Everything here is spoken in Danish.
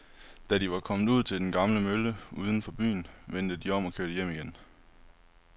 Da de var kommet ud til den gamle mølle uden for byen, vendte de om og kørte hjem igen.